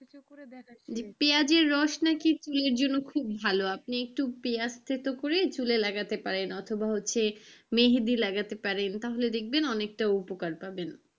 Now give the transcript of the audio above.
যে পেঁয়াজের রস নাকি চুলের জন্য নাকি খুব ভালো। আপনি একটু পেঁয়াজ থেথো করে চুলে লাগাতে পারেন অথবা হচ্ছে মেহেদি লাগাতে পারেন তাহলে দেখবেন অনেকটা উপকার পাবেন।